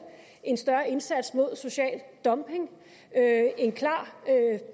en større indsats mod social dumping en klar